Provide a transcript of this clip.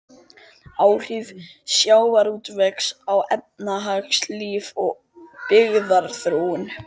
Áhrif sjávarútvegs á efnahagslíf og byggðaþróun.